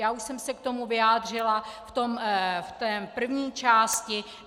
Já už jsem se k tomu vyjádřila v té první části.